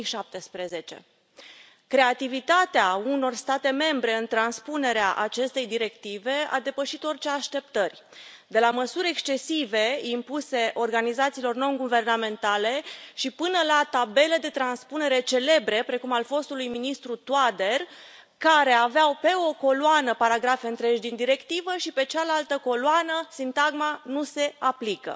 2017. Creativitatea unor state membre în transpunerea acestei directive a depășit orice așteptări de la măsuri excesive impuse organizațiilor nonguvernamentale și până la tabele de transpunere celebre precum al fostului ministru Toader, care aveau pe o coloană paragrafe întregi din directivă și pe cealaltă coloană sintagma Nu se aplică.